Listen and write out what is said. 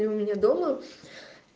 и у меня дома